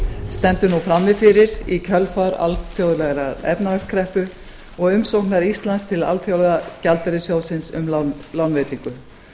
stendur nú frammi fyrir í kjölfar alþjóðlegrar efnahagskreppu og umsóknar íslands til alþjóðagjaldeyrissjóðsins um lánveitingu